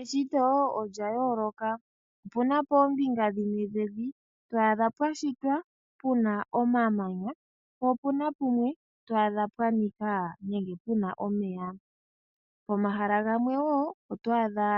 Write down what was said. Eshito olyayooloka. Opuna poombinga dhimwe dhevi to adha pwashitwa puna omamanya po opuna pamwe to adha pwashitwa nenge puna omeya. Pomahala gamwe woo oto adha